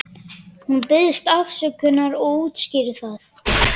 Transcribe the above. Hún biðst afsökunar og útskýrir það.